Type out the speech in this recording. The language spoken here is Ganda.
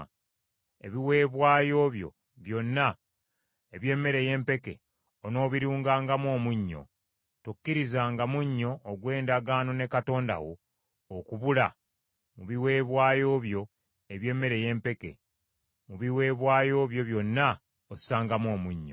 Ebiweebwayo byo byonna eby’emmere ey’empeke onoobirungangamu omunnyo : tokkirizanga munnyo ogw’endagaano ne Katonda wo okubula mu biweebwayo byo eby’emmere ey’empeke; mu biweebwayo byo byonna ossangamu omunnyo.